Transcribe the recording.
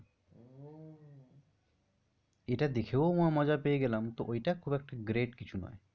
এইটা দেখেও মজা পেয়ে গেলাম তো ঐটা খুব একটা great কিছু না।